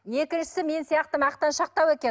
екіншісі мен сияқты мақтаншақтау екен